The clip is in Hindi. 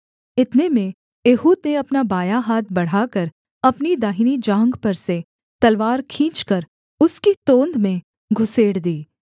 इतने में एहूद ने अपना बायाँ हाथ बढ़ाकर अपनी दाहिनी जाँघ पर से तलवार खींचकर उसकी तोंद में घुसेड़ दी